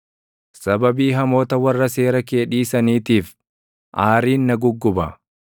Sababii hamoota warra seera kee dhiisaniitiif, aariin na gugguba.